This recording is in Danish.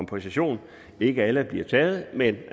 på session ikke alle bliver taget men